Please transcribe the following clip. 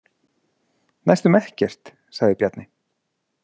Næstum ekkert, sagði Bjarni.